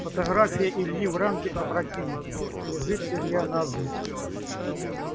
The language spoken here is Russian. фотография ильи в рамке опрокинута лежит илья навзничь